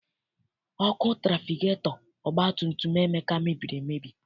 Ọkụ trafigetọ ọgbatumtum Ebuka mebiri emebi.